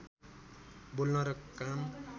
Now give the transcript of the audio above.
बोल्न र काम